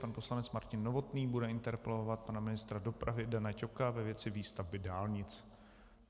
Pan poslanec Martin Novotný bude interpelovat pana ministra dopravy Dana Ťoka ve věci výstavby dálnic.